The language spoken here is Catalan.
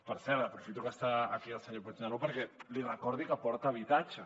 per cert aprofito que està aquí el senyor puigneró perquè li recordi que porta habitatge